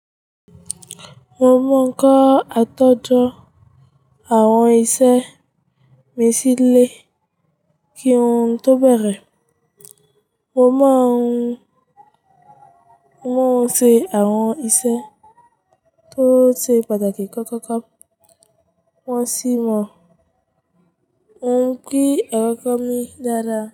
Mo mọ̀ ọ́n kọ àtòjọ àwọn isẹ́ mi sílè kí wọn tó bẹ̀rẹ̀. Mo mọ̀ ọ́n se àwọn isẹ́ tó ṣe pàtàkì kọ̀ọ̀kan kan wọn sì mọ́. Ó ń pín ẹran kan mi dáadáa.